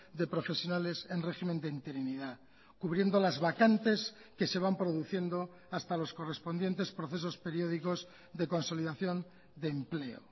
de profesionales en régimen de interinidad cubriendo las vacantes que se van produciendo hasta los correspondientes procesos periódicos de consolidación de empleo